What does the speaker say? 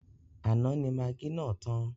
Àná ni magí náà tàn.